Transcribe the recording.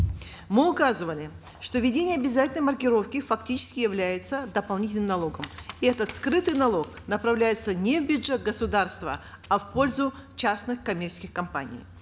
мы указывали что введение обязательной маркировки фактически является дополнительным налогом и этот скрытый налог направляется не в бюджет государства а в пользу частных коммерческих компаний